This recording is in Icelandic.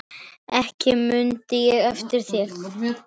Ekki mun þér af veita.